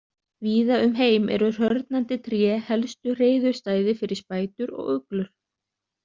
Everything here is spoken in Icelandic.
Víða um heim eru hrörnandi tré helstu hreiðurstæði fyrir spætur og uglur.